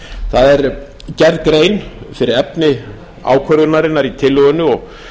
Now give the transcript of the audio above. það er gerð grein fyrir efni ákvörðunarinnar í tillögunni og